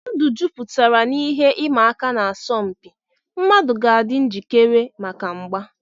Ndụ jupụtara n'ihe ịma aka na asọmpi; mmadụ ga-adị njikere maka mgba.